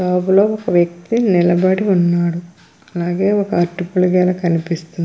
Shop లో ఒక వ్యక్తి నిలబడి ఉన్నాడు. అలాగే ఒక అరటిపళ్ళ గెల కనిపిస్తుంది.